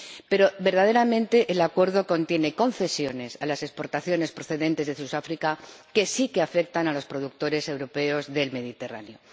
Pero, verdaderamente, el Acuerdo contiene concesiones a las exportaciones procedentes de Sudáfrica que sí que afectan a los productores europeos del Mediterráneo.